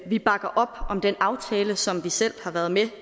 vi bakker op om den aftale som vi selv har været med